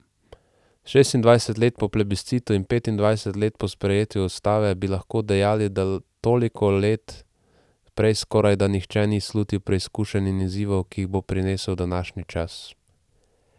Šestindvajset let po plebiscitu in petindvajset let po sprejetju ustave bi lahko dejali, da toliko let prej skorajda nihče ni slutil preizkušenj in izzivov, ki jih bo prinesel današnji čas.